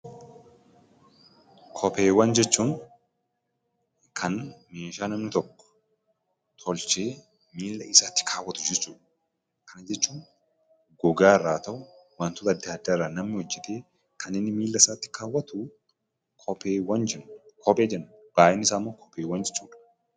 Kopheewwan jechuun kan meeshaa namni tokko tolchee miilla isaatti kaawwatu jechuu dha. Kana jechuun gogaa irraa haa ta'u; wantoota addaa addaa irraa namni hojjetee kan inni miilla isaatti kaawwatu kophee jedhama. Baayyinni isaa immoo kopheewwan jedhama.